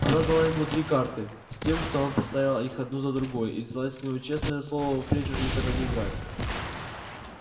она дала ему три карты с тем что он поставил их одну за другою и взяла с него честное слово впредь уже никогда не играть